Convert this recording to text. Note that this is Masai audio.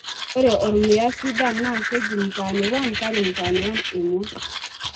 ore ormuya sidan naa keji mtaani-1 KARI Mtaani-1 emua